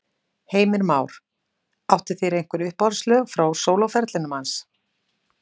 Heimir Már: Áttu þér einhver uppáhaldslög frá sólóferlinum hans?